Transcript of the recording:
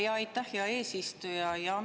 Jaa, aitäh, hea eesistuja!